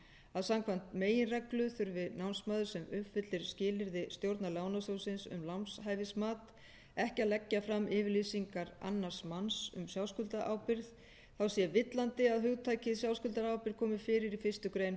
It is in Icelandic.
að samkvæmt meginreglu þurfi námsmaður sem uppfyllir skilyrði stjórnar lánasjóðsins um lánshæfismat ekki að leggja fram yfirlýsingu annars manns um sjálfskuldarábyrgð þá sé villandi að hugtakið sjálfskuldarábyrgð komi fyrir í fyrstu grein